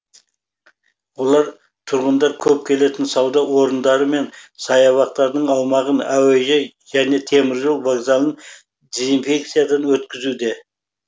олар тұрғындар көп келетін сауда орындары мен саябақтардың аумағын әуежай және теміржол вокзалын дезинфекциядан өткізуде